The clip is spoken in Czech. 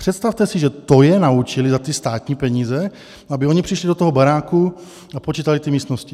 Přestavte si, že to je naučili za ty státní peníze, aby oni přišli do toho baráku a počítali ty místnosti.